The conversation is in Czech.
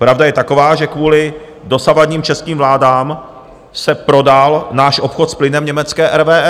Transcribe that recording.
Pravda je taková, že kvůli dosavadním českým vládám se prodal náš obchod s plynem německé RWE.